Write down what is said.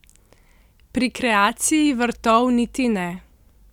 Pri kreaciji vrtov niti ne.